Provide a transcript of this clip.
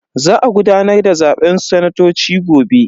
Za a gudanar da zaben sanatoci gobe.